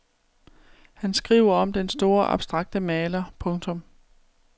Han skriver om den store abstrakte maler. punktum